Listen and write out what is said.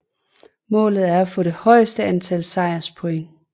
Målet er at få det højeste antal sejrspoint